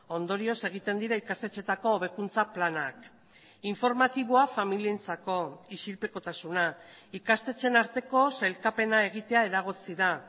ondorioz egiten dira ikastetxeetako hobekuntza planak informatiboa familientzako isilpekotasuna ikastetxeen arteko sailkapena egitea eragotzi da